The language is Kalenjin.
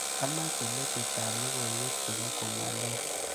Amache metitap logoiwek chebo komaloo.